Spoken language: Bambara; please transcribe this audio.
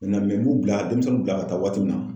Na n b'u bila demisɛnninw bila ka taa waati min na